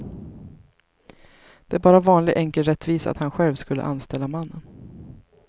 Det är bara vanlig enkel rättvisa att han själv skulle anställa mannen.